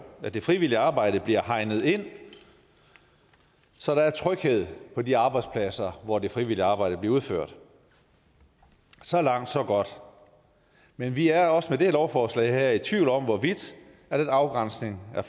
at det frivillige arbejde bliver hegnet ind så der er tryghed på de arbejdspladser hvor det frivillige arbejde bliver udført så langt så godt men vi er også med det her lovforslag i tvivl om hvorvidt den afgrænsning er